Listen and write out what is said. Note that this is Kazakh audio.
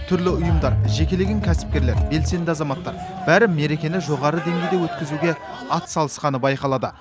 түрлі ұйымдар жекелеген кәсіпкерлер белсенді азаматтар бәрі мерекені жоғары деңгейде өткізуге ат салысқаны байқалады